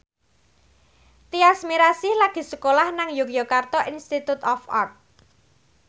Tyas Mirasih lagi sekolah nang Yogyakarta Institute of Art